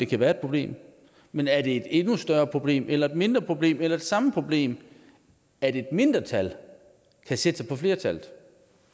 kan være et problem men er det et endnu større problem eller et mindre problem eller det samme problem at et mindretal kan sætte sig på flertallet